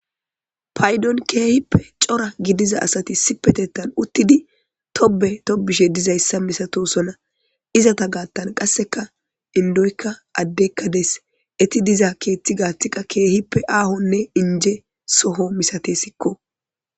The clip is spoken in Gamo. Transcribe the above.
paydon keehippe cora gidiza asati si petettan uttidi tobe tobishe dizayssa misato sona izata gaattan qasseka indoykka addekka des eti diza keeththi gaathiqa keehippe aahonne inje soho misate sikko